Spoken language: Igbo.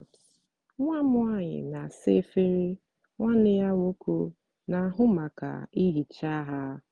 nwa m nwanyị na-asa efere nwanne ya nwoke na-ahụ maka ihicha ha.